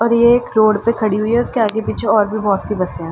और ये एक रोड पे खड़ी हुई है उसके आगे पीछे और भी बहोत सी बसे हैं।